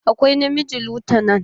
Akwai na miji lutanan.